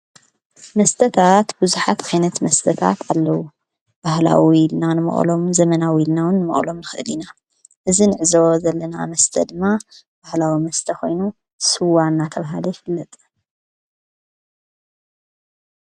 መስተታት ብዙኃት ኸይነት መስተታት ኣለዉ ባህላዊ ኢልናን መዕሎም ዘመናዊ ኢልናውን መቕሎም ኽእሊና እዝ ንዕዘወ ዘለና መስተ ድማ ባሕላዊ መስተኾይኑ ሥዋ እና ተብሃለ ይፍለጠ።